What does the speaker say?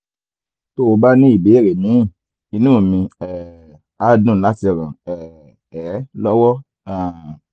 tó o bá ní ìbéèrè míì inú mi um á dùn láti ràn um ẹ́ lọ́wọ́ um